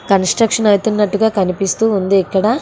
Construction అయితున్నట్టుగా కనిపిస్తూ ఉంది ఇక్కడ.